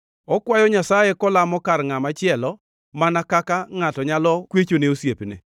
okwayo Nyasaye kolamo kar ngʼama chielo mana kaka ngʼato nyalo kwechone osiepne.